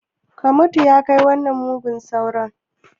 Ka mutu! ya kai wannan mugun sauron